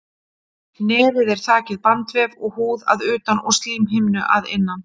Nefið er þakið bandvef og húð að utan og slímhimnu að innan.